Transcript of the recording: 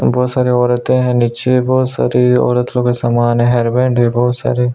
बहोत सारे औरते है यहाँ नीचे बहोत सारी औरत लोगो क अ सामान है हेयरबैंड है बहोत सारे --